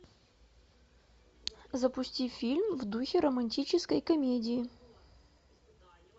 запусти фильм в духе романтической комедии